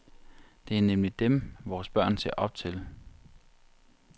Det er nemlig dem, vores børn ser op til.